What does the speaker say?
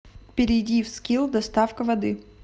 перейди в скилл доставка воды